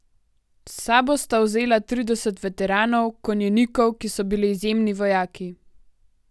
S sabo sta vzela trideset veteranov, konjenikov, ki so bili izjemni vojaki.